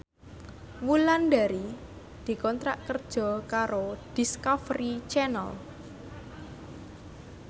Wulandari dikontrak kerja karo Discovery Channel